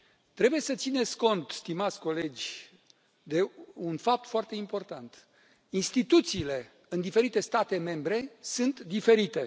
Trebuie să țineți cont, stimați colegi, de un fapt foarte important instituțiile în diferite state membre sunt diferite.